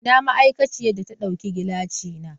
Ina ma'aikaciyar da ta dauki gilashina?